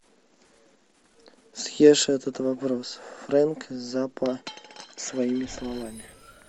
съешь этот вопрос фрэнк заппа своими словами